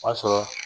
O y'a sɔrɔ